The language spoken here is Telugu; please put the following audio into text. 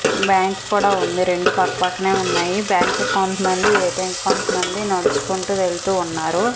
బ్యాంక్ కూడా ఉంది రెండూ పక్క పక్కనే ఉన్నాయి బ్యాంక్ కి కొంత మంది ఎ_టి_ఎం కి కొంత మంది నడుచుకుంటూ వెళ్తూ ఉన్నారు.